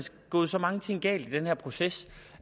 gået så mange ting galt i den her proces